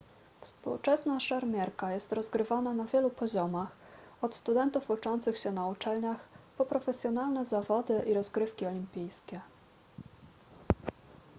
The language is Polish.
współczesna szermierka jest rozgrywana na wielu poziomach od studentów uczących się na uczelniach po profesjonalne zawody i rozgrywki olimpijskie